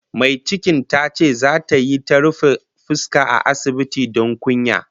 Mai cikin tace zata yi ta ta rufe fuska a asibiti don kunya